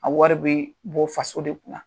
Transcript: A wari bɛ bɔ faso de kun na.